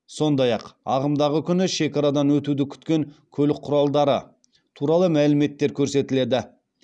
сондай ақ ағымдағы күні шекарадан өтуді күткен көлік құралдары туралы мәліметтер көрсетіледі